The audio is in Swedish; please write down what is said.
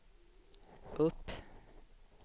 upp